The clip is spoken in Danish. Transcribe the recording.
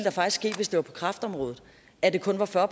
ske hvis det var på kræftområdet at det kun var fyrre